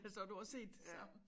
Så du har set det samme